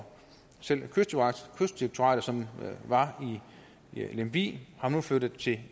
selv kystdirektoratet som var i lemvig og nu flyttet til